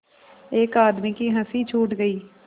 एक आदमी की हँसी छूट गई